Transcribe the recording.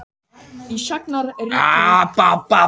Ég ætla fyrst og fremst að ná mér góðum.